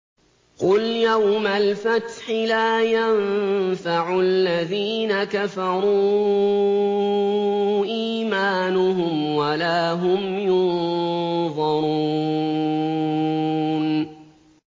قُلْ يَوْمَ الْفَتْحِ لَا يَنفَعُ الَّذِينَ كَفَرُوا إِيمَانُهُمْ وَلَا هُمْ يُنظَرُونَ